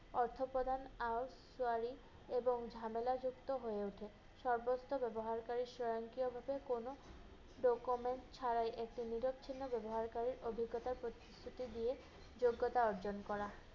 অর্থ প্রদান আওস সওয়ারি এবং ঝামেলাযুক্ত হয়ে ওঠে। সর্বত্র ব্যবহারকারি স্বয়ংক্রিয়ভাবে কোন ছাড়াই একটি নিরক চিহ্ন ব্যবহারকারির অভিজ্ঞতা প্রতিশ্রুতি দিয়ে যোগ্যতা অর্জন করা।